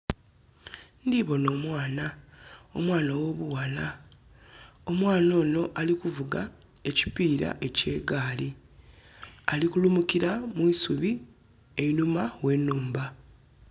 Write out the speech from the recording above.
Ndibona omwana, omwana ow'obuwala. Omwana ono ali kuvuga ekipira eky'egaali. Ali kulumukira mu isubi einhuma we nhumba